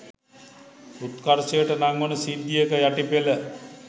උත්කර්ෂයට නංවන සිද්ධියක යටි පෙළ